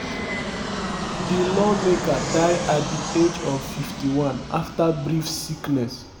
di lawmaker die at di age of 51 afta brief sickness.